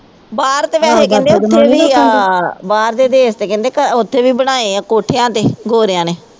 ਬਾਹਰ ਤਾ ਵੈਸੇ ਕਹਿੰਦੇ ਉੱਥੇ ਵੀ ਆ ਬਾਹਰ ਦੇ ਦੇਸ਼ ਤਾ ਕਹਿੰਦੇ ਉੱਥੇ ਵੀ ਬਣਾਏ ਆ ਕੋਠਿਆਂ ਤੇ ਗੋਰਿਆਂ ਨੇ